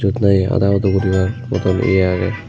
eyot nahi ada udo goribar podot eyo agey.